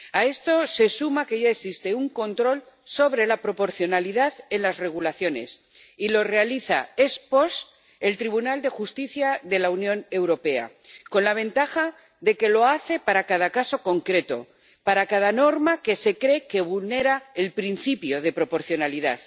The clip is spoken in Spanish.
A esto se suma que ya existe un control sobre la proporcionalidad en las regulaciones, y lo realiza ex post el Tribunal de Justicia de la Unión Europea, con la ventaja de que lo hace para cada caso concreto, para cada norma que —se cree— vulnera el principio de proporcionalidad.